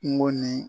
Kungo ni